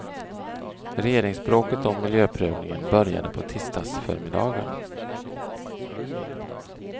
Regeringsbråket om miljöprövningen började på tisdagsförmiddagen.